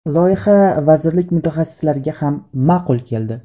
Loyiha vazirlik mutaxassislariga ham ma’qul keldi.